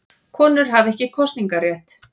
Konur hafa ekki kosningarétt.